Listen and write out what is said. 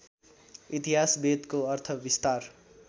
इतिहास वेदको अर्थविस्तार